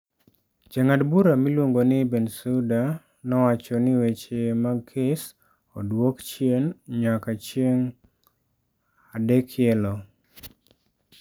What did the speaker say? Jang'ad bura miluongo ni Bensuda nowacho ni weche mag Kes odwok chien nyanka chieng adekielo.